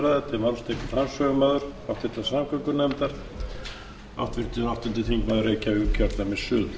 virðulegi forseti ég flyt hér nefndarálit um frumvarp til